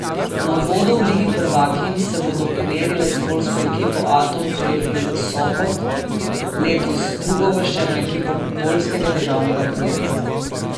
Na uvodu v ligi prvakinj se bodo pomerile s poljsko ekipo Atom Trefl Sopot, letos drugouvrščeno ekipo poljskega državnega prvenstva.